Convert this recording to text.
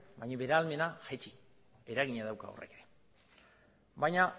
baina bere ahalmena jaitsi eragina dauka horrek ere baina